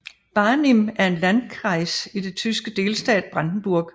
Barnim er en landkreis i den tyske delstat Brandenburg